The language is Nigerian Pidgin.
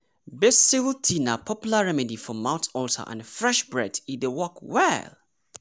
basil tea na popular remedy for mouth ulcer and fresh breath e dey work well!